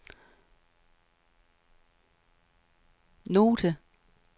note